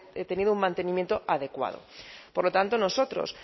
tenido un mantenimiento adecuado por lo tanto nosotros